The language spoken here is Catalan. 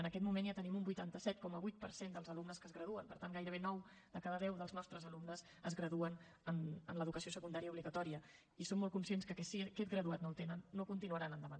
en aquest moment ja tenim un vuitanta set coma vuit per cent dels alumnes que es graduen per tant gairebé nou de cada deu dels nostres alumnes es graduen en l’educació secundària obligatòria i som molt conscients que si aquest graduat no el tenen no continuaran endavant